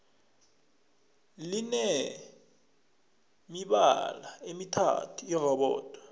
line mibala emithathu irobodo